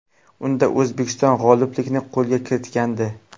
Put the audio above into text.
Unda O‘zbekiston g‘oliblikni qo‘lga kiritgandi.